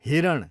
हिरण